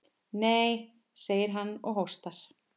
Nei, segir hann og hóstar.